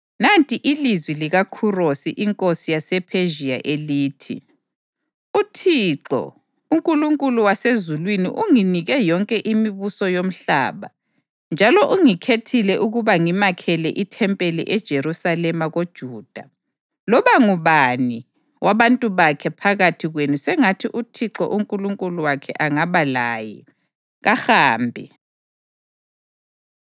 “Nanti ilizwi likaKhurosi inkosi yasePhezhiya elithi: ‘ UThixo, uNkulunkulu wasezulwini unginike yonke imibuso yomhlaba njalo ungikhethile ukuba ngimakhele ithempeli eJerusalema koJuda. Loba ngubani, wabantu bakhe phakathi kwenu sengathi uThixo uNkulunkulu wakhe angaba laye, kahambe.’ ”